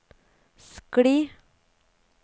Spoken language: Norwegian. skli